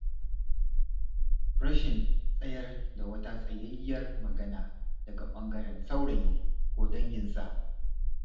Rashin tsayar da wata tsayayyiyar magana daga ɓangaren saurayi, ko danginsa.